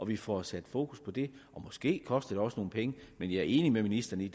vi får sat fokus på det og måske koster det også nogle penge men jeg er enig med ministeren i